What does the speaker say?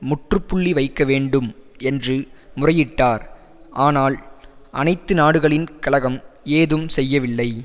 முற்றுப்புள்ளி வைக்க வேண்டும் என்று முறையிட்டார் ஆனால் அனைத்து நாடுகளின் கழகம் ஏதும் செய்யவில்லை